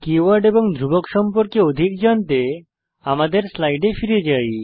keyword এবং ধ্রুবক সম্পর্কে অধিক জানতে আমাদের স্লাইড ফিরে যাই